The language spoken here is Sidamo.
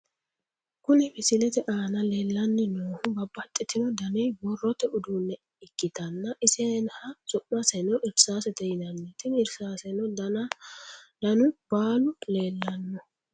Kuni misilete aana leellanni noohu babbaxitino dani borrote uduunne ikkitanna , iseha su'maseno irsaasete yinanni, tini irsaaseno danu baalu leellanno.